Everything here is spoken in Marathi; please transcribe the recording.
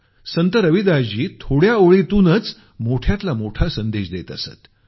संत रविदासजी थोड्या ओळीतूनच मोठ्यातला मोठा संदेश देत असत